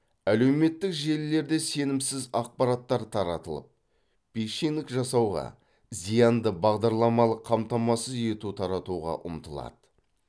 әлеуметтік желілерде сенімсіз ақпараттар таратылып пишинг жасауға зиянды бағдарламалық қамтамасыз ету таратуға ұмтылады